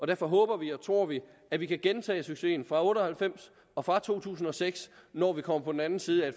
derfor håber vi og tror vi at vi kan gentage succesen fra nitten otte og halvfems og fra to tusind og seks når vi kommer på den anden side af